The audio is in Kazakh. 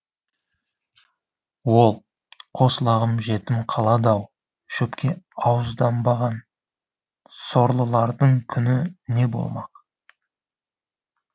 ол қос лағым жетім қалады ау шөпке ауызданбаған сорлылардың күні не болмақ